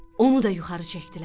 Onu da yuxarı çəkdilər.